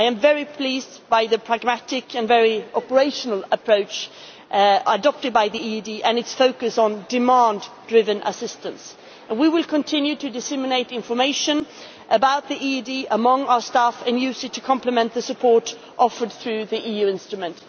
I am very pleased with the pragmatic and very operational approach adopted by the EED and its focus on demand-driven assistance. We will continue to disseminate information about the EED among our staff and to use it to complement the support offered through the EU instrument.